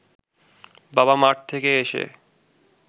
বাবা মাঠ থেকে এসে